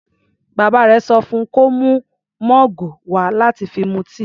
Bàbá rẹ̀ sọ fún kó mú mọ́ọ̀gù wà láti fi mu tíì.